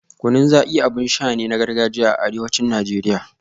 Kunun Zaki abin sha ne na gargajiyar arewacin Najeriya